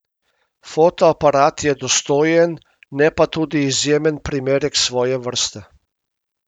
Fotoaparat je dostojen, ne pa tudi izjemen primerek svoje vrste.